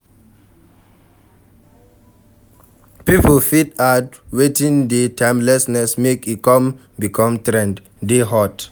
Pipo fit add wetin dey timeless make e come become trend, dey hot